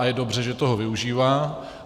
A je dobře, že toho využívá.